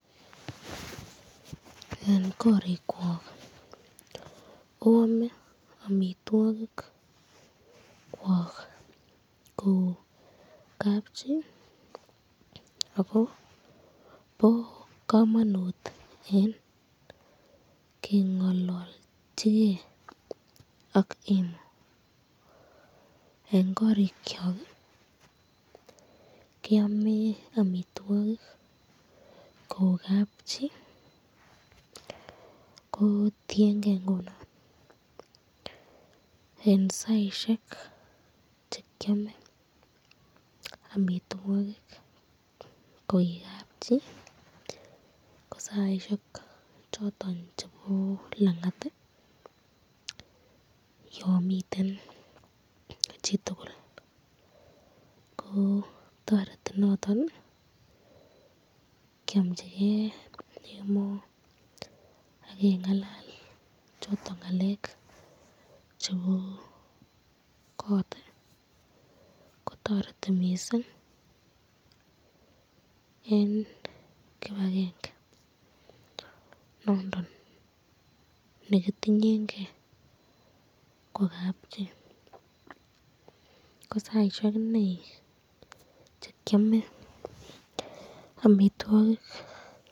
Eng korikwok oame amitwokik ko kabchi, oko bo kamanut eng kengalalchke ak emo, eng korikyok keame amitwokik ko kabchi. Ko tienke ngunon eng saisyek chekyame amitwokik ko kabchi ko saisyek choton chebo langat yon miten chitukul ko , toreti noton kiamchiken emoo akengalal ngalekab chebo kot kotareti mising , eng kibakenge nondon nekitinyenken ko kapchi.